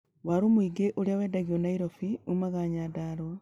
Watu mũingĩ ũrĩa wendagio Nairobi uumaga Nyandarwa.